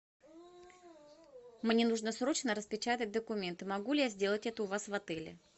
мне нужно срочно распечатать документы могу ли я сделать это у вас в отеле